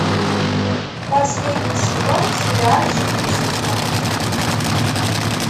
последний сезон сериальчик числа